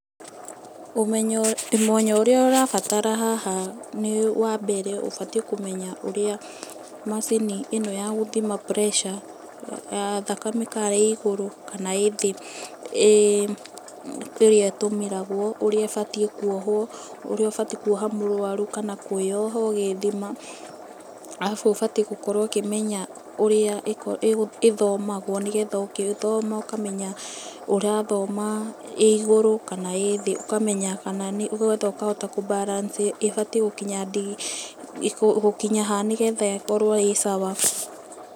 Ũmenyo ũrĩa ũrabatara haha nĩ wa mbere ubatiĩ kũmenya urĩa macini ĩno ya gũthima pressure, ya thakame kana ĩ igũrũ kana ĩthĩ ũrĩa ĩtũmĩragwo, ũrĩa ĩbatiĩ kwohwo, ũrĩa ũbatiĩ kwoha mũrwaru kana kwĩyoha ũgĩthima. Arabu ũbatiĩ gũkorwo ũkĩmenya ũrĩa ĩthomagwo nĩgetha ũgĩthoma ũkamenya ũrathoma ĩigũrũ kana ĩthĩ, ũkamenya, nĩ getha ũkahota kũ balance ĩbatiĩ gũkinya digirii, gũkinya ha nĩ getha ikorwo ĩ sawa.